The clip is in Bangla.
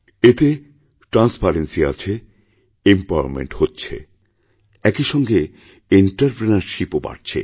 এতে ট্রান্সপারেন্সি আছে এমপাওয়ারমেন্ট হচ্ছে একই সঙ্গে এন্টারপ্রেনিউরশিপ ও বাড়ছে